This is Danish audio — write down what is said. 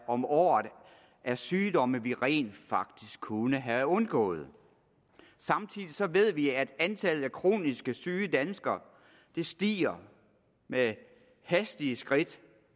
om året af sygdomme vi rent faktisk kunne have undgået samtidig ved vi at antallet af kronisk syge danskere stiger med hastige skridt